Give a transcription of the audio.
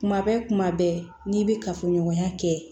Kuma bɛ kuma bɛɛ n'i bɛ kafoɲɔgɔnya kɛ